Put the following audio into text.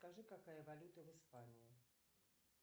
скажи какая валюта в испании